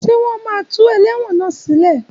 Ṣé wọ́n máa tó tú ẹlẹ́wọ̀n náà sí lé?